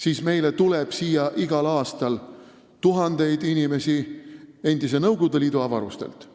siis meile tuleb siia igal aastal tuhandeid inimesi endise Nõukogude Liidu avarustest.